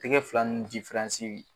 Tɛga fila ni